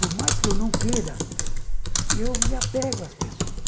Por mais que eu não queira, eu me apego às pessoas.